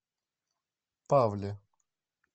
павле